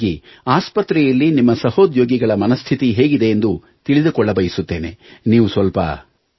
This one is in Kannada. ಹಾಗಾಗಿ ಆಸ್ಪತ್ರೆಯಲ್ಲಿ ನಿಮ್ಮ ಸಹೋದ್ಯೋಗಿಗಳ ಮನಸ್ಥಿತಿ ಹೇಗಿದೆ ಎಂದು ತಿಳಿದುಕೊಳ್ಳಬಯಸುತ್ತೇನೆ ನೀವು ಸ್ವಲ್ಪ